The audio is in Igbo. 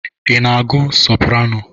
Ị na-agụ soparano?